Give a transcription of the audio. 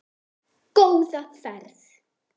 Góða ferð!